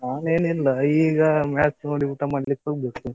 ನಾನೇನಿಲ್ಲ. ಈಗ match ನೋಡಿ ಊಟ ಮಾಡ್ಲಿಕ್ಕೆ ಹೋಗ್ಬೇಕು.